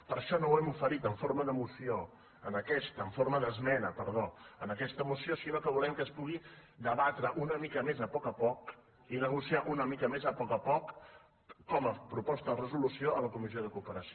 per això no ho hem ofert en forma d’esmena en aquesta moció sinó que volem que es pugui debatre una mica més a poc a poc i negociar una mica més a poc a poc com a proposta de resolució a la comissió de cooperació